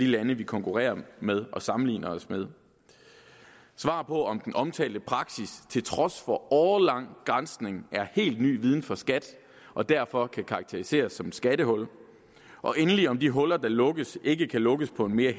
lande vi konkurrerer med og sammenligner os med svar på om den omtalte praksis til trods for årelang granskning er helt ny viden for skat og derfor kan karakteriseres som et skattehul og endelig om de huller der lukkes ikke kan lukkes på en mere